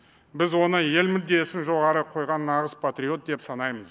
біз оны ел мүддесін жоғары қойған нағыз патриот деп санаймыз